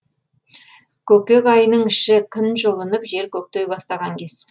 көкек айының іші күн жылынып жер көктей бастаған кез